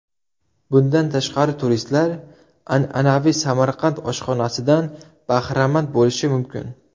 Bundan tashqari turistlar an’anaviy Samarqand oshxonasidan bahramand bo‘lishi mumkin.